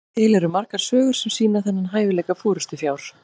til eru margar sögur sem sýna þennan hæfileika forystufjár